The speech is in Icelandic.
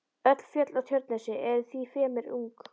Öll fjöll á Tjörnesi eru því fremur ung.